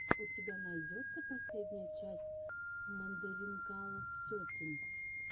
у тебя найдется последняя часть мандаринкалов сетин